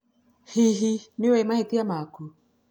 Hihi nĩ ũĩ mahĩtia maku?